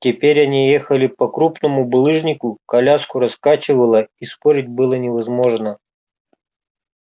теперь они ехали по крупному булыжнику коляску раскачивало и спорить было невозможно